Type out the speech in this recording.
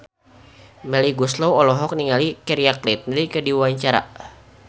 Melly Goeslaw olohok ningali Keira Knightley keur diwawancara